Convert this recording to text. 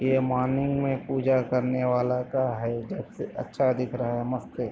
ये मॉर्निंग मे पूजा करने वाला का है जब से अच्छा दिख रहा है मस्त है।